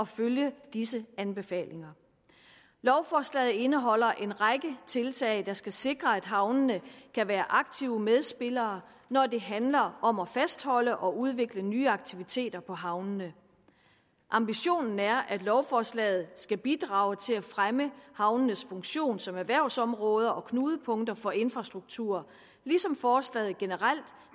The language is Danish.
følge disse anbefalinger lovforslaget indeholder en række tiltag der skal sikre at havnene kan være aktive medspillere når det handler om at fastholde og udvikle nye aktiviteter på havnene ambitionen er at lovforslaget skal bidrage til at fremme havnenes funktion som erhvervsområder og knudepunkter for infrastruktur ligesom forslaget generelt